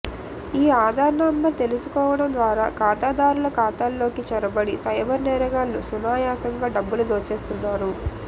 ఈ ఆధార్ నంబర్ తెలుసుకోవడం ద్వారా ఖాతాదారుల ఖాతాల్లోకి చొరబడి సైబర్ నేరగాళ్లు సునాయాసంగా డబ్బులు దోచేస్తున్నారు